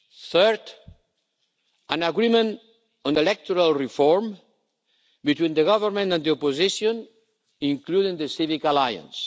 Third, an agreement on electoral reform between the government and the opposition, including the Civic Alliance.